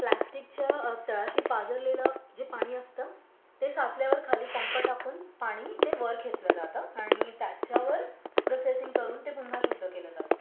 प्लॅस्टिकच्या तळाशी पाझरलेलं जे पाणी असतं ते पोचल्यावर खाली पम्प टाकून पाणी ते वर खेचलं जातं. आणि त्याच्यावर प्रोसेसिंग करून ते पुन्हा शुद्ध केलं जातं